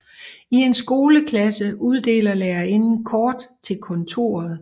I en skoleklasse uddeler lærerinden kort til kontoret